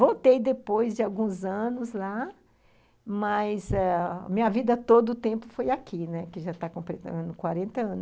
Voltei depois de alguns anos lá, mas minha eh vida todo o tempo foi aqui, né, que já está completando quarenta anos